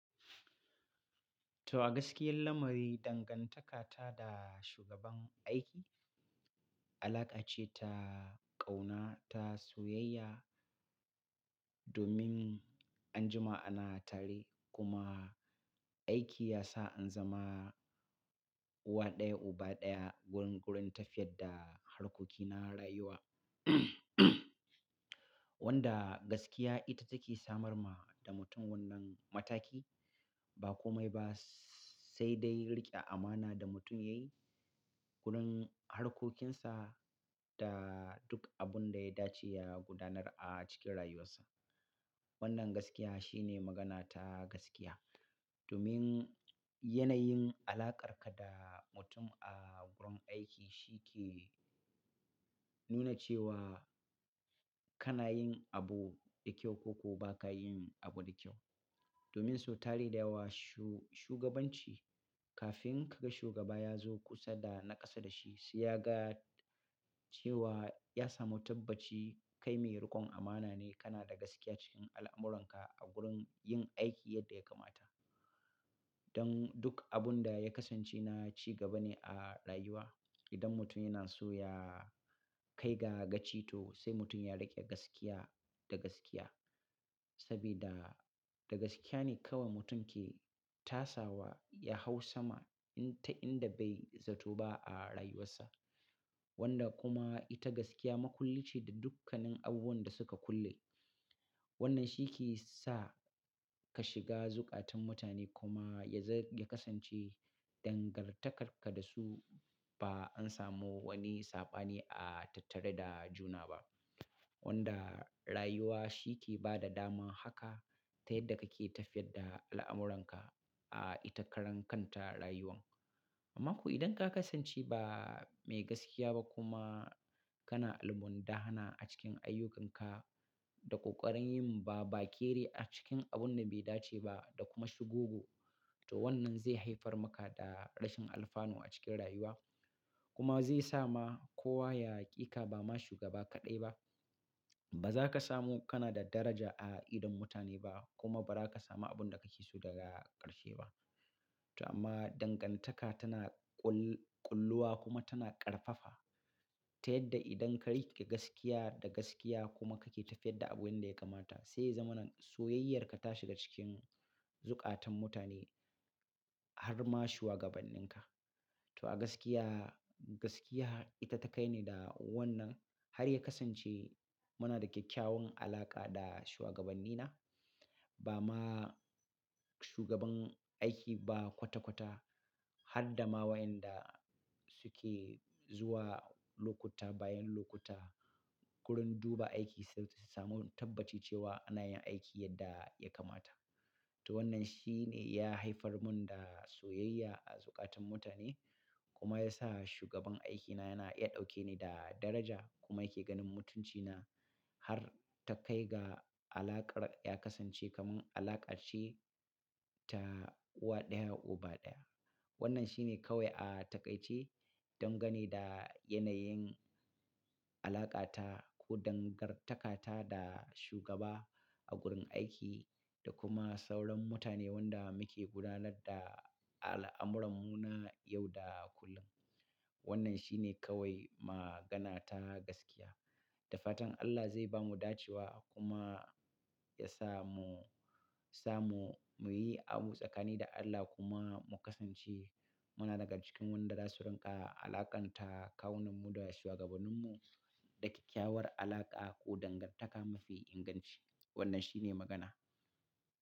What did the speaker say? To, a gaskiya lamari dangantaka ta da shugaban aiki, alaƙa ce ta ƙauna, ta soyayya domin anjima ana tare kuma aiki ya sa an zama uwa ɗaya, uba ɗaya. Gurun gurun tafiyar da harkoki na rayuwa, wanda gaskiya ita take samar ma da mutum wannan mataki. Ba kome ba sai dai riƙe amana da mutum yayi gurin harkokinsa da duk abun da ya dace ya gudanar a cikin rayuwarsa. Wannan gaskiya shine magana ta gaskiya. Domin yanayin alaƙarka da mutum a wurin aiki shi ke nuna cewa kana yin abu da kyau ko kuma ba ka yin abu da kyau. Domin so tari da yawa shu-shugabanci kafin ka ga shugaba ya zo kusa da naƙasa da shi, sai ya ga cewa ya samu tabbaci kai mai rikon amana ne, kana da gaskiya cikin al'amuranka a gurin yin aiki yadda ya kamata. Don duk abun da ya kasance na cigaba ne a rayuwa. Idan mutum yana so ya kai ga gaci to sai mutum ya riƙe gaskiya da gaskiya. Sabida da gaskiya ne kawai mutum ke tasawa ya hau sama in ta inda bai zato ba a rayuwarsa. Wanda kuma ita gaskiya makulli ce da dukkanin abubuwan da suka kulle. Wannan shi ke sa ka shiga zukatan mutane kuma ya za-ya kasance dangantakarka da su ba an samu wani saɓani a tattare da juna ba. Wanda rayuwa shi ke ba da daman haka ta yadda kake tafiyar da al'amuranka a ita karan kanta rayuwan. Amma ko idan ka kasance ba mai gaskiya ba kuma kana almundahana a cikin ayyukanka, da ƙoƙarin yin babakere a cikin abun da bai dace ba da kuma shugugu, to wannan zai haifar maka da rashin alfanu a cikin rayuwa. Kuma zai sa ma kowa ya ƙi ka. Ba ma shugaba kaɗai ba, ba za ka samu kana da daraja a idon mutane ba kuma ba za ka samu abun da ka ki so daga ƙarshe ba. To amma dangantaka tana ƙull-ƙulluwa kuma tana ƙarfafa ta yadda idan ka riƙe gaskiya da gaskiya kuma kake tafiyar da abu yanda ya kamata, sai ya zamana soyayyarka ta shiga cikin zukatan mutane har ma shugabanninka. To a gaskiya, gaskiya ita ta kai ni da wannan har ya kasance muna da kyakkyawan alaƙa da shuwagabannina. Ba ma shugaban aiki ba kwata-kwata har da ma wayanda suke zuwa lokuta bayan lokuta wurin duba aiki sai su samu tabbaci cewa ana yin aiki yadda ya kamata. To wannan shine ya haifar mun da soyayya a zukatan mutane kuma ya sa shugaban aikina yana iya ɗauke ni da daraja kuma yake ganin mutuncina har ta kai ga alaƙar ya kasance kaman alaƙar shi ta uwa ɗaya, uba ɗaya. Wannan shine kawai a taƙaice dangane da yanayin alaƙa ta ko dangantaka ta da shugaba a gurin aiki da kuma sauran mutane wanda muke gudanar da al'amurarmu na yau da kullum. Wannan shi ne kawai magana ta gaskiya. Da fatan Allah zai bamu dacewa kuma ya sa mu, sa mu, muyi abu tsakani da Allah kuma mu kasance muna daga cikin wadanda su riƙa alaƙanta kawunmu da shugabanninmu da kyakkyawar alaƙa ko dangantaka mafi inganci. Wannan shi ne magana.